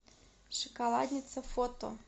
шоколадница фото